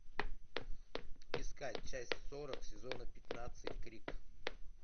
искать часть сорок сезона пятнадцать крик